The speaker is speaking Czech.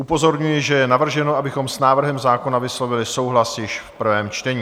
Upozorňuji, že je navrženo, abychom s návrhem zákona vyslovili souhlas již v prvém čtení.